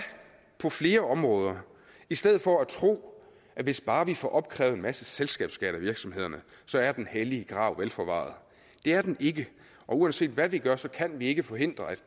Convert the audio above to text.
på flere områder i stedet for at tro at hvis bare vi får opkrævet en masse selskabsskat af virksomhederne så er den hellige grav vel forvaret det er den ikke og uanset hvad vi gør så kan vi ikke forhindre at